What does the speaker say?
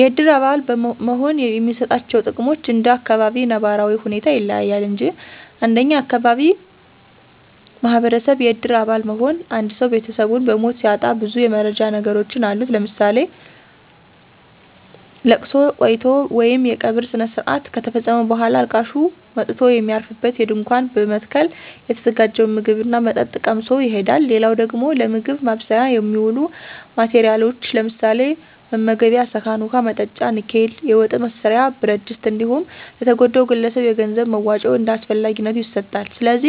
የእድር አባል መሆን የሚሰጣቸው ጥቅሞች እንደ አካባቢው ነባራዊ ሁኔታ ይለያል እንጅ እንደኛ አካባቢ ማህበረሰብ የእድር አባል መሆን አንድሰው ቤተሰቡን በሞት ሲያጣ ብዙ የመረዳጃ ነገሮች አሉት ለምሳሌ፦ ለቅሶ ቆይቶ ወይም የቀብር ስነስረአት ከተፈፀመ በኋላ አልቃሹ መጥቶ የሚያርፍበት ድንኳን በመትከል የተዘጋጀውን ምግብ ና መጠጥ ቀምሶ ይሄዳል። ሌላው ደግሞ ለምግብ ማብሰያ የሚውሉ ማቴረያሎች ለምሳሌ፦ መመገቤያ ሰአን፣ ውሀ መጠጫ ንኬል፣ የወጥ መስሪያ ብረትድስት እንዲሁም ለተጎዳው ግለሰብ የገንዘብ መዋጮ እንደ አስፈላጊነቱ ይሰጣል። ስለዚ